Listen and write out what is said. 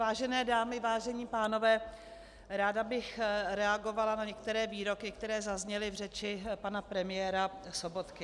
Vážené dámy, vážení pánové, ráda bych reagovala na některé výroky, které zazněly v řeči pana premiéra Sobotky.